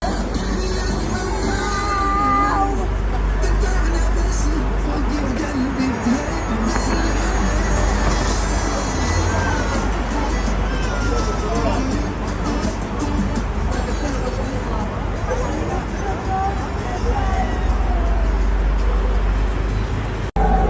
Anlaşılmayan səslər.